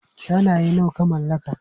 Shanaye nawa ka mallaka?